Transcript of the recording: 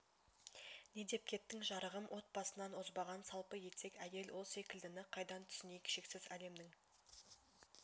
не деп кеттің жарығым от басынан озбаған салпы етек әйел ол секілдіні қайдан түсінейік шексіз әлемнің